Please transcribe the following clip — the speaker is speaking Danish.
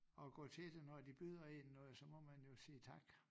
At gå til det når de byder én når så må man jo sige tak